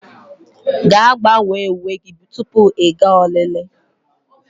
Gaa, gbanwee uwe gị tupu ị gaa olili